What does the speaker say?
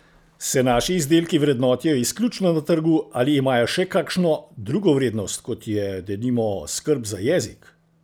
Se naši izdelki vrednotijo izključno na trgu ali imajo še kakšno drugo vrednost, kot je, denimo, skrb za jezik?